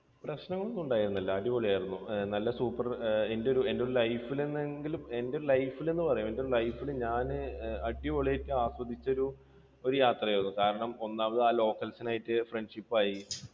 പ്രശ്നങ്ങളൊന്നും ഉണ്ടായിരുന്നില്ല അടിപൊളിയായിരുന്നു. നല്ല super. എൻറെ ഒരു life ൽ എന്നെങ്കിലും എന്തൊരു life ൽ എന്നു പറയാം life ൽ ഞാൻ അടിപൊളിയായിട്ട് ആസ്വദിച്ച ഒരു ഒരു യാത്രയായിരുന്നു കാരണം ഒന്നാമത് ആ locals ആയിട്ട് friendship ആയി.